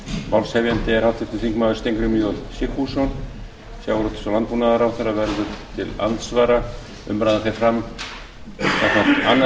málshefjandi er háttvirtur þingmaður steingrímur j sigfússon sjávarútvegs og landbúnaðarráðherra verður til andsvara umræðan fer fram samkvæmt annarri